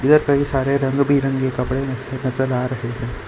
कई सारे रंग बिरंगे कपड़े नजर आ रहे हैं।